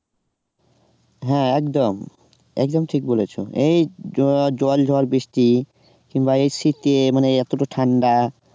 হ্যাঁ একদম একদম ঠিক বলেছো এই জল ঝড় বৃষ্টি কিংবা এই শীতে এতটা ঠান্ডা